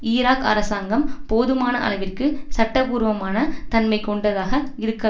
Iraq அரசாங்கம் போதுமான அளவிற்கு சட்டபூர்வமான தன்மை கொண்டதாக இருக்க